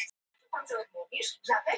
Við höfum bannað áfengi.